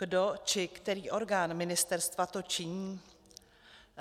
Kdo či který orgán ministerstva to činí?